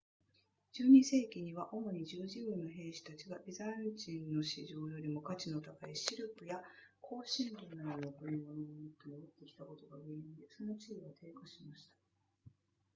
12世紀には主に十字軍の兵士たちがビザンチンの市場よりも価値の高いシルクや香辛料などの贈り物を持って戻ってきたことが原因でその地位は低下しました